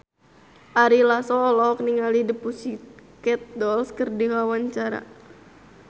Ari Lasso olohok ningali The Pussycat Dolls keur diwawancara